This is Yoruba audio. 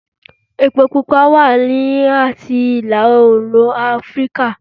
Epo pupa wá láti ìlà-oòrùn Afíríkà